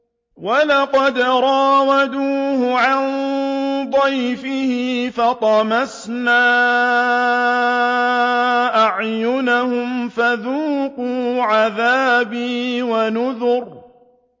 وَلَقَدْ رَاوَدُوهُ عَن ضَيْفِهِ فَطَمَسْنَا أَعْيُنَهُمْ فَذُوقُوا عَذَابِي وَنُذُرِ